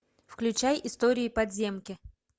включай истории подземки